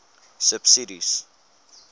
subsidies